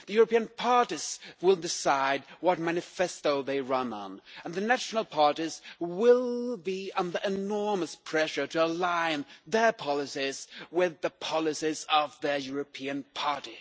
The European parties will decide what manifesto they run on, and the national parties will be under enormous pressure to align their policies with the policies of their European party.